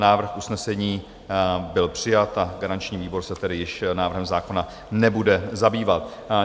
Návrh usnesení byl přijat, a garanční výbor se tedy již návrhem zákona nebude zabývat.